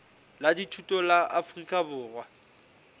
la dithuto la afrika borwa